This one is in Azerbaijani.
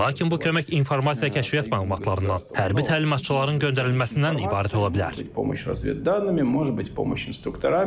Lakin bu kömək informasiya-kəşfiyyat məlumatlarından, hərbi təlimatçıların göndərilməsindən ibarət ola bilər.